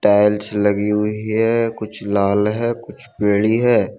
Tiles लगी हुई है कुछ लाल है कुछ पीली है।